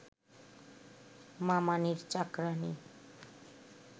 মামানীর চাকরাণী